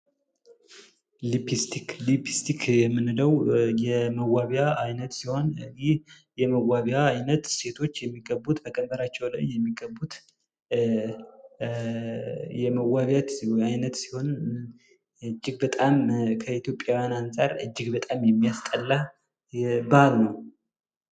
ሊፒስቲክ የምንለው የመዋቢያ አይነት ሲሆን ሴቶች ከንፈራቸው ላይ የሚቀቡት ከኢትዮጵያውያን አንጻር እጅግ በጣም የሚያስጠላ ባህል ነው።